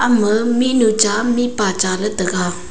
ama mihnu cha mihpa cha le taga.